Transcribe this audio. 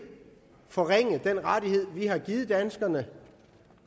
forringe den rettighed vi har givet danskerne